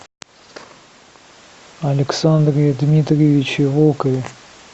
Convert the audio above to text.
александре дмитриевиче волкове